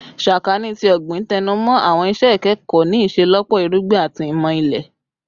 Sakaani ti Ogbin tẹnumọ awọn iṣẹ ikẹkọ ni iṣelọpọ Irugbin ati Imọ Ile